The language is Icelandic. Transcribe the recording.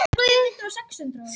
Hæstiréttur ógilti dóm héraðsdóms